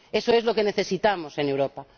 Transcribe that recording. Eso es lo que necesitamos en Europa.